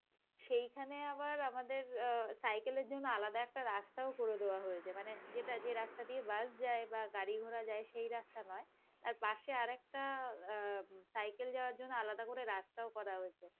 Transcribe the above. সেইখানে আবার আমাদের অ্যাঁ সাইকেলের জন্য আলাদা একটা রাস্তা করে দেওয়া হয়েছে মানে যে রাস্তা দিয়ে বাস যায় বা গাড়ি ঘোড়া যায় সেই রাস্তা নয়, তার পাশে আরেকটা অ্যাঁ সাইকেল যাওয়ার জন্য আলাদা করে রাস্তা করা হয়েছে,